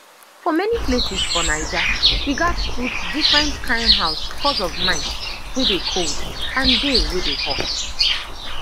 for many places for naija we gats put different kain house cos of night wey dey cold and day wey dey hot